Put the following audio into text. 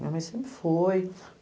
Minha mãe sempre foi.